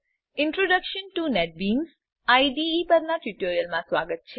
introduction to NetBeans IDE પરનાં ટ્યુટોરીયલમાં સ્વાગત છે